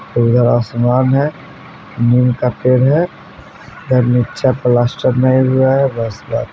नीला आसमान है नीम का पेड़ है इधर नीचे प्लास्टर ने हुआ है बस।